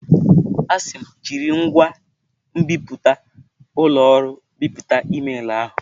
A sị m, jiri ngwa nbipute ụlọ ọrụ bipụta emailụ ahụ!